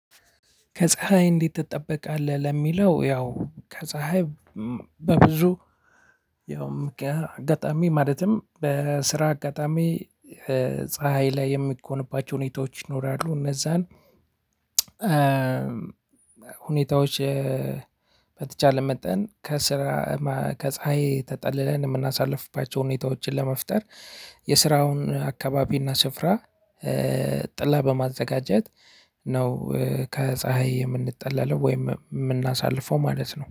ከፀሀይ እንዴት ትጠበቃለህ? ለሚለው ያው ከፀሀይ በብዙ ያውም አጋጣሚ ማለትም በስራ አጋጣሚ ፀሀይ ላይ የሚኮንባቸው ሁኔታዎች ይኖራሉ። እነዛን ሁኔታዎች። በተቻለ መጠን ከስራ ከፀሀይ ተጠልለን የምናሳልፍባቸውን ሁኔታዎችን ለመፍጠር የስራውን አካባቢና ስፍራ ጥላ በማዘጋጀት ነው። ከፀሀይ የምንጠለለው ወይም የምናሳልፈው ማለት ነው